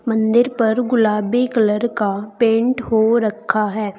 मंदिर पर गुलाबी कलर का पेंट हो रखा है।